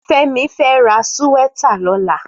Femi fè rà síwètá lòlá